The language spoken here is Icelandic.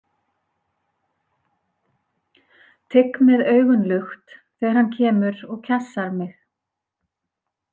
Tygg með augun lukt þegar hann kemur og kjassar mig.